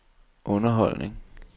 underholdning